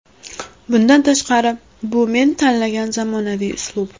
Bundan tashqari, bu men tanlagan zamonaviy uslub.